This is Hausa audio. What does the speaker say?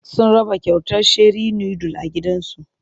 Sun raba kyautar sheri nudul a gidan zu.